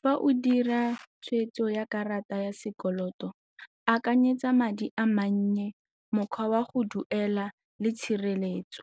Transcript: Fa o dira tshweetso ya karata ya sekoloto, akanyetsa madi a mannye, mokgwa wa go duela le tshireletso